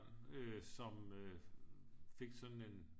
Øh som øh fik sådan en